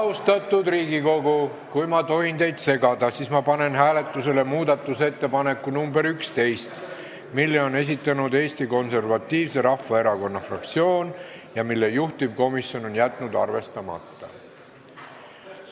Austatud Riigikogu, kui ma tohin teid segada, siis ma panen teie ette muudatusettepaneku nr 11, mille on esitanud Eesti Konservatiivse Rahvaerakonna fraktsioon ja mille juhtivkomisjon on jätnud arvestamata.